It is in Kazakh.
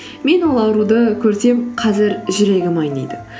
мен ол ауруды көрсем қазір жүрегім айниды